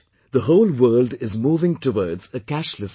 The whole world is moving towards a cashless society